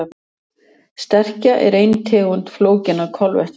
Sterkja er ein tegund flókinna kolvetna.